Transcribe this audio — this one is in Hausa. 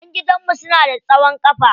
Ƴan gidan mu suna da tsawon kafa.